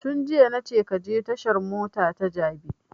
Tun jiya na ce ka je tashan mota ta jabi